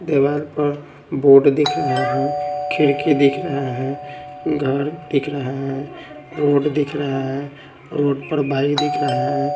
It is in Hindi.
देवाल पर बोर्ड दिख रहा हैं खिड़की दिख रहा हैं घर दिख रहा हैं रोड दिख रहा हैं रोड पर बाइक दिख रहे हैं।